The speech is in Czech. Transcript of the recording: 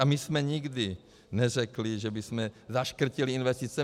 A my jsme nikdy neřekli, že bychom zaškrtili investice.